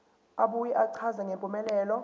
abuye achaze ngempumelelo